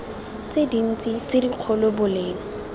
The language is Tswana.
tse dintsi tse dikgolo boleng